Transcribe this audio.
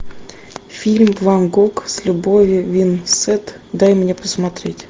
фильм ван гог с любовью винсент дай мне посмотреть